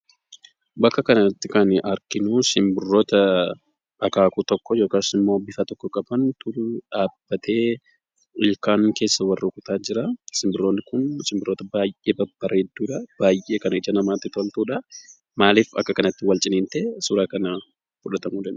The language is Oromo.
Bakka kanatti kan arginuu simbirroota akaakuu tokkoo yookaas immoo bifa tokko qabantu dhaabbatee ilkaan keessa wal rukutaa jiraa. Simbirroonni kun simbirroota baay'ee babbareedduudha, baay'ee kan ija namaatti toltudha. Maalif akka kanatti wal ciniintee suura kana fudhatamuu danda'e?